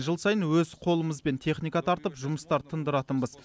жыл сайын өз қолымызбен техника тартып жұмыстар тындыратынбыз